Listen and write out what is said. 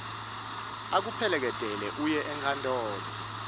akuphekeletele uye enkantolo